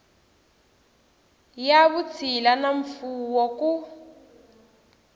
ya vutshila na mfuwo ku